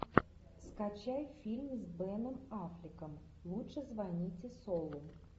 скачай фильм с беном аффлеком лучше звоните солу